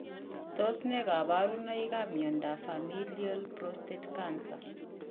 Tos ne kaborunoikap miondop Familial prostate cancer?